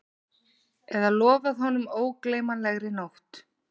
Eða lofað honum ógleymanlegri nótt